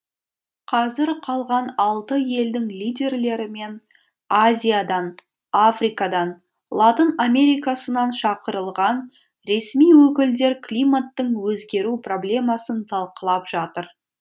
қазір қалған алты елдің лидерлері мен азиядан африкадан латын америкасынан шақырылған ресми өкілдер климаттың өзгеру проблемасын талқылап жатыр